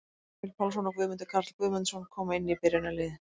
Emil Pálsson og Guðmundur Karl Guðmundsson koma inn í byrjunarliðið.